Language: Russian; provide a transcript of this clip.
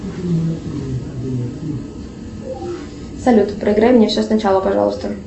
салют проиграй мне все сначала пожалуйста